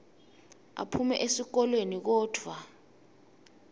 aphume esihlokweni kodvwa